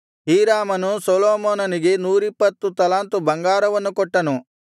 ಹೀರಾಮನು ಸೊಲೊಮೋನನಿಗೆ ನೂರಿಪ್ಪತ್ತು ತಲಾಂತು ಬಂಗಾರವನ್ನು ಕೊಟ್ಟನು